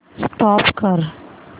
stop करा